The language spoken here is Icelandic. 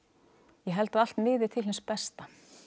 ég held að allt miði til hins besta